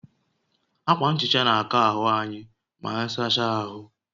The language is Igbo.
Akwa nhicha na akọ́ ahụ anyị maanyị sacha ahụ